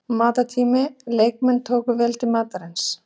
Matartími: Leikmenn tóku vel til matar síns.